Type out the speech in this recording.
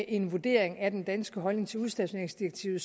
en vurdering af den danske holdning til udstationeringsdirektivet